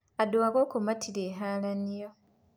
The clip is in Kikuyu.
Andu akũrũ matirĩ haranio.